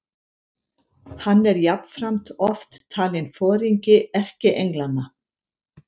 Hann er jafnframt oft talinn foringi erkienglanna.